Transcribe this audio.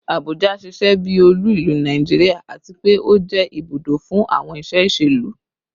Abuja ṣiṣẹ bi olu ilu Naijiria ati pe o jẹ ibudo fun awọn iṣe iṣelu